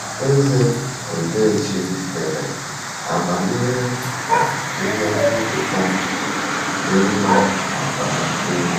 Eze Odechi dere: “Amamihe na ihe nketa dị mma ma bara uru…”